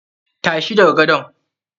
Tashi daga gadon!